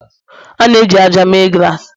A na-eji ájá mee glassi